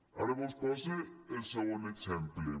ara vos pose el segon exemple